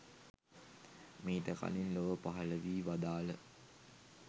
මීට කලින් ලොව පහළ වී වදාළ